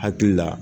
Hakili la